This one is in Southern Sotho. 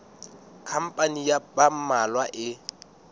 khampani ya ba mmalwa e